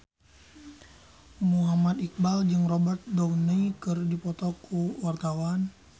Muhammad Iqbal jeung Robert Downey keur dipoto ku wartawan